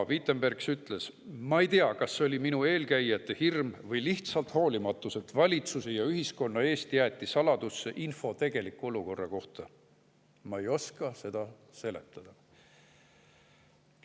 Vitenbergs ütles, et ta ei tea, kas see oli tema eelkäijate hirm või lihtsalt hoolimatus, et valitsuse ja ühiskonna eest jäeti saladusse info tegeliku olukorra kohta, ta ei oska seda seletada.